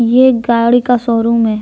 ये एक गाड़ी का शोरूम है।